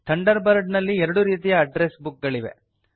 thunder bird ನಲ್ಲಿ ಎರಡು ರೀತಿಯ ಅಡ್ಡ್ರೆಸ್ ಬುಕ್ ಗಳು ಇವೆ